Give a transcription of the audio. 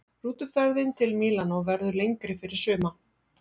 Rútuferðin til Mílanó verður lengri fyrir suma.